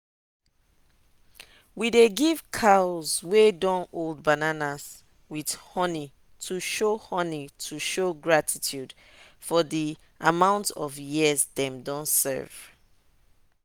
we dey give cows wey don old bananas with honey to show honey to show gratitude for the amount of years them don serve.